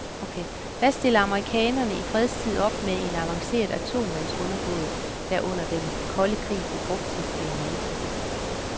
Hvad stiller amerikanerne i fredstid op med en avanceret atomundervandsbåd, der under den kolde krig blev brugt til spionage?